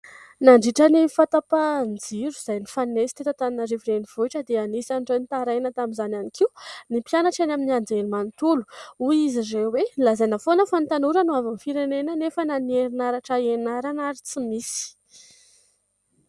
Nandritran'ny fahatapahan-jiro izay nifanesy teto Antananarivo renivohitra dia anisan'ireo nitaraina tamin'izany ihany koa ny mpianatra eny amin'ny anjerimanontolo, hoy izy ireo hoe"nolazaina foana fa ny tanora no hoavin'ny firenena nefa na ny herinaratra ianarana ary tsy misy".